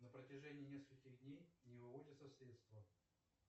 на протяжении нескольких дней не выводятся средства